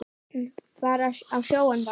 Fara á sjóinn bara.